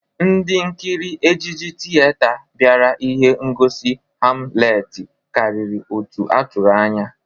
Ndị nkiri ejiji tiyeta bịara ihe ngosi Hamleti karịrị otu a tụrụ anya.